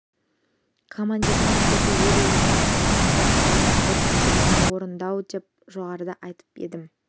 командирдің міндеті өлу емес алдына қойған жауынгерлік тапсырманы орындау деп жоғарыда айтқан едім